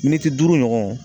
Miniti duuru ɲɔgɔn